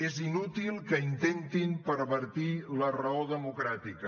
és inútil que intentin pervertir la raó democràtica